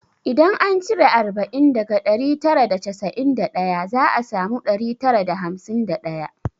Idan an cire arba'in daga ɗari tara da casa'in da daya za a samu ɗari tara da hamsin da ɗaya